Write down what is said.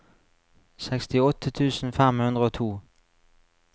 sekstiåtte tusen fem hundre og to